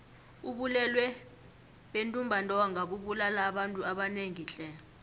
ubulwele bentumbantonga bubulala abantu abanengi tle